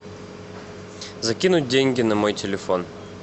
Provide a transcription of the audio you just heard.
закинуть деньги на мой телефон